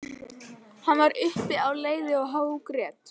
Hann var uppi á leiði og hágrét.